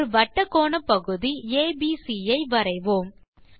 ஒரு வட்டக் கோணப்பகுதி ஏபிசி ஐ வரைவோம்